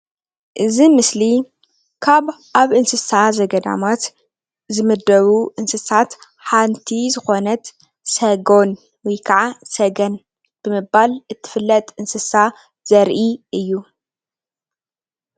እዚ ምስሊ ካብ ኣብ እንስሳ ዘገዳማት ዝምደቡ እንስሳት ሓንቲ ዝኮነት ሰጎን ወይ ክዓ ሰገን ብምባል እትፍለጥ እንስሳ ዘርኢ እዩ፡፡